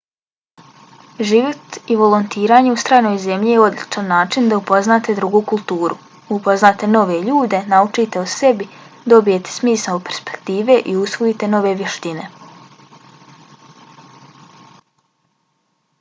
život i volontiranje u stranoj zemlji je odličan način da upoznate drugu kulturu upoznate nove ljude naučite o sebi dobijete smisao perspektive i usvojite nove vještine